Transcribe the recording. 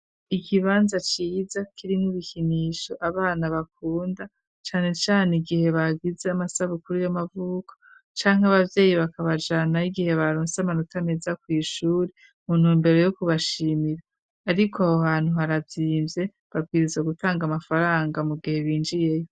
Ikibanza ciza kiri n'ibikinisho abana bakunda cane cane igihe bagize amasabukuru y'amavuko canke abavyeyi bakabajana igihe baronsi amanota meza ku ishuri. Mu ntumbero yo kubashimira ariko aho hantu harazimvye babwiriza gutanga amafaranga mu gihe binjiyeyo.